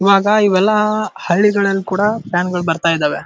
ಈವಾಗ ಇವೆಲ್ಲ ಹಳ್ಳಿಗಳಲ್ಲಿ ಕೂಡ ಫ್ಯಾನ ಗಳು ಬರ್ತಾ ಇದ್ದವೇ.